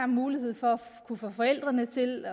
mulighed for at få forældrene til